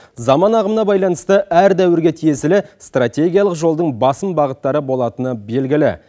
заман ағымына байланысты әр дәуірге тиесілі стратегиялық жолдың басым бағыттары болатыны белгілі